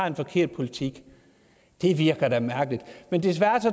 en forkert politik det virker da mærkeligt men desværre